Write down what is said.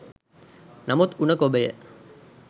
නමුත් උණ ගොබය